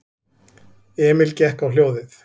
Emil gekk á hljóðið.